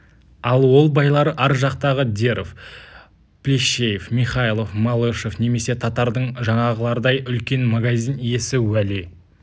ал ол байлар ар жақтағы деров плещеев михайлов малышев немесе татардың жаңағылардай үлкен магазин иесі уәли